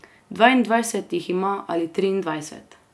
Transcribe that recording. Dvaindvajset jih ima ali triindvajset.